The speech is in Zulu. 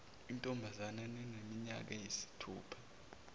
intombazanyana eneminyaka eyisithupha